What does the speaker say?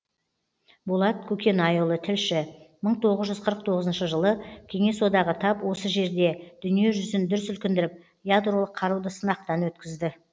болат көкенайұлы тілші мың тоғыз жүз қырық тоғызыншы жылы кеңес одағы тап осы жерде дүние жүзін дүр сілкіндіріп ядролық қаруды сынақтан өткізді